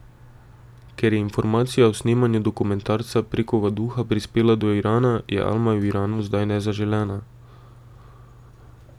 Ker je informacija o snemanju dokumentarca prek ovaduha prispela do Irana, je Alma v Iranu zdaj nezaželena.